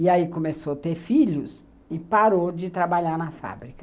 E aí começou a ter filhos e parou de trabalhar na fábrica.